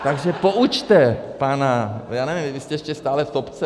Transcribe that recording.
Takže poučte pana, já nevím, vy jste ještě stále v topce?